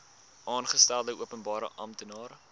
aangestelde openbare amptenaar